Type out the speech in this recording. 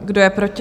Kdo je proti?